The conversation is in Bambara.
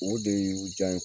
O de ye u jan ye